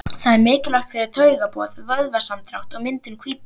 Það er mikilvægt fyrir taugaboð, vöðvasamdrátt og myndun hvítu.